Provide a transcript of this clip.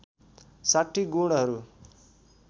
६० गुणहरू